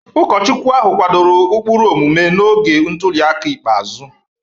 Ụkọchukwu ahụ kwadoro ụkpụrụ omume n'oge ntuli aka ikpeazụ.